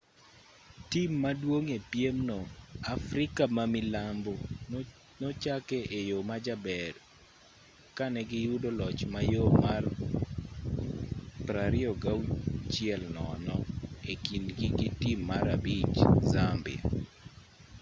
tim maduong' e piem no afrika ma milambo nochake e yo majaber ka ne giyudo loch mayom mar 26-00 e kindgi gi tim mar abich zambia